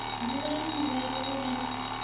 bulani murero u re na